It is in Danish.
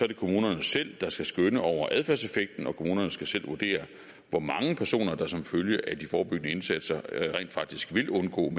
det kommunerne selv der skal skønne over adfærdseffekten og kommunerne skal selv vurdere hvor mange personer der som følge af de forebyggende indsatser rent faktisk vil undgå